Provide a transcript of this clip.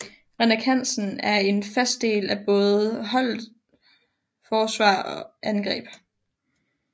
Henrik Hansen er en fast del af både holdet forsvar og angreb